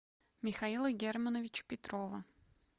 михаила германовича петрова